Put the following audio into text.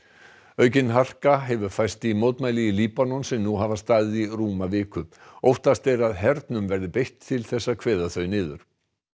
aukin harka hefur færst í mótmæli í Líbanon sem nú hafa staðið í rúma viku óttast er að hernum verði beitt til að kveða þau niður